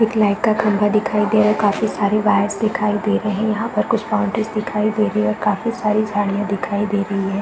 एक लाइट का खंभा दिखाई दे रहा काफी सारी वायर्स दिखाई दे रही हैं यहाँ पर कुछ बाउंड्रीज दिखाई दे रही है और काफी सारी झाड़ियां दिखाई दे रही हैं।